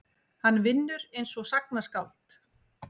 Hann vinnur einsog sagnaskáld.